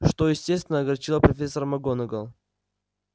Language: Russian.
что естественно огорчило профессора макгонагалл